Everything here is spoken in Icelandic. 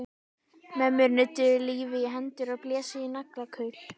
Mömmur nudduðu lífi í hendur og blésu í naglakul.